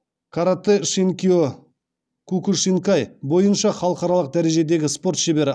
каратэ шинкио кукушинкай бойынша халықаралық дәрежедегі спорт шебері